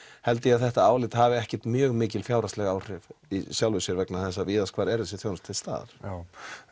held ég að þetta álit hafi ekkert mjög mikil fjárhagsleg áhrif í sjálfu sér vegna þess að víðast hvar er þessi þjónusta til staðar já